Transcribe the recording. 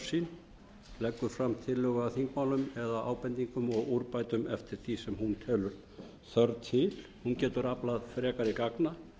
sín leggur fram tillögu að þingmálum eða ábendingum og úrbótum eftir því sem hún telur þörf til hún getur aflað frekari gagna